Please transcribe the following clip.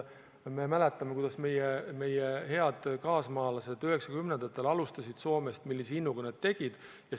Me mäletame, kuidas meie head kaasmaalased 1990-ndatel alustasid Soomes, millise innuga nad tööd tegid.